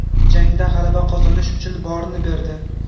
Jangda g‘alaba qozonish uchun borini berdi.